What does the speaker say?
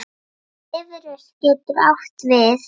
Bifröst getur átt við